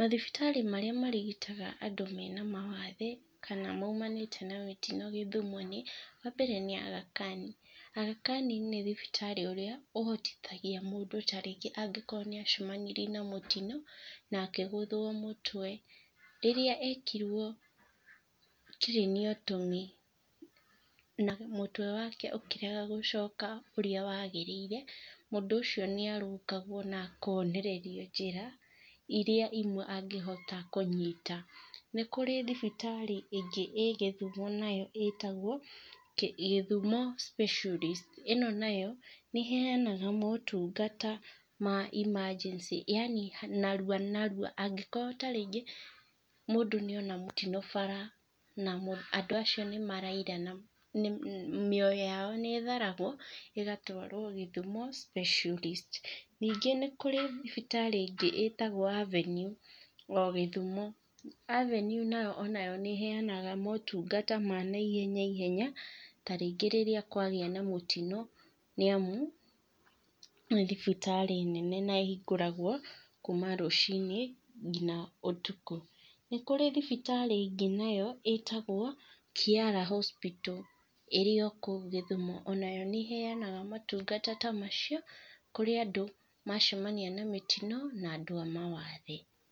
Mathibitarĩ marĩa marigitaga andũ mena mawathe kana maumanĩte na mĩtino gĩthumo nĩ, wa mbere nĩ Aga Khan. Aga Khan nĩ thibitarĩ ũrĩa ũhotithagia mũndũ ta rĩngĩ mũndũ nĩ acemanirie na tarĩngĩ mũtino na akĩgũthwo mũtwe, rĩrĩa ekirwo craniotony na mutwe wake ũkĩrega gũcoka ũrĩa wagĩrĩire, mũndũ ũcio nĩ arũngagwo na akonererio njĩra iria imwe angĩhota kũnyita. Nĩ kũrĩ thibitarĩ ĩngĩ ĩĩ gĩthumo nayo ĩtagwo Gĩthumo Specialist, ĩno nayo nĩ ĩhenaga motungata ma emergency, yaani narua narua angĩkorwo ta rĩngĩ mũndũ nĩ ona mũtino bara na andũ acio nĩ maraura, mĩoyo yao nĩ ĩtharagwo ĩgatwarwo Gĩthumo Specialist. Ningĩ nĩ kũrĩ thibitarĩ ingĩ ĩtagwo Avenue o gĩthumo. Avenue nayo onayo nĩ heanaga motungata ma naihenya ihenya tarĩngĩ rĩrĩa kwagĩa na mũtino nĩ amu nĩ thibitarĩ nene na ĩhingũragwo kuma rũciinĩ nginya ũtukũ. Nĩ kũrĩ thibitarĩ ĩngĩ nayo ĩtagwo Kiara Hospital ĩrĩ o kũu gĩthumo. Ona nayo nĩheanaga motungata ta macio kũrĩ andũ macemania na mĩtino na andũ a mawathe.